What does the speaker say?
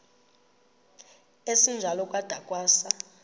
esinjalo kwada kwasa